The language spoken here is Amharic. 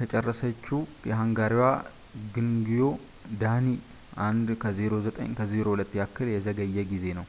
ከጨረሰችው የሃንጋሪዋ ግዮንግዪ ዳኒ 1:09.02 ያክል የዘገየ ጊዜ ነው